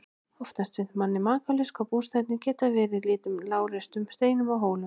Oft finnst manni makalaust hvað bústaðirnir geta verið í litlum og lágreistum steinum og hólum.